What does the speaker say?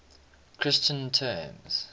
christian terms